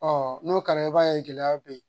n'o kɛra i b'a ye gɛlɛya bɛ yen